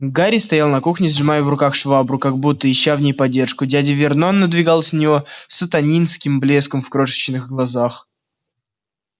гарри стоял на кухне сжимая в руках швабру как будто ища в ней поддержку дядя вернон надвигался на него с сатанинским блеском в крошечных глазках